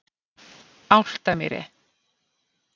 Álftamýri